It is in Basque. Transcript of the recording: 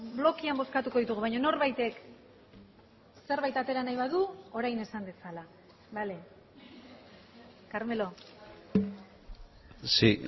blokean bozkatuko ditugu baina norbaitek zerbait atera nahi badu orain esan dezala bale carmelo sí